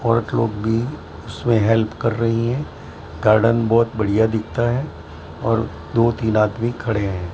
बहोत लोग भी उसमें हेल्प कर रही हैं गार्डन बहोत बढ़िया दिखता है और दो तीन आदमी खडे हैं।